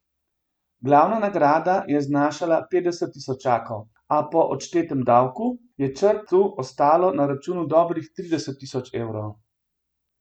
Glavna nagrada je znašala petdeset tisočakov, a po odštetem davku je Črt ostalo na računu dobrih trideset tisoč evrov.